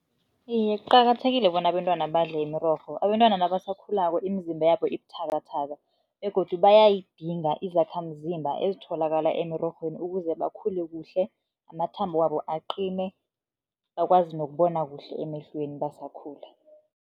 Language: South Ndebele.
Iye, kuqakathekile bona abentwana badle imirorho. Abentwana nabasakhulako imizimba yabo ibuthakathaka begodu bayayidinga izakhamzimba ezitholakala emirorhweni ukuze bakhule kuhle, amathambo wabo aqine, bakwazi nokubona kuhle emehlweni basakhula.